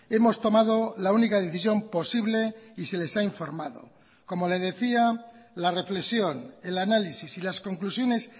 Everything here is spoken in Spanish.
hemos tomado la única decisión posible y se les ha informado como le decía la reflexión el análisis y las conclusiones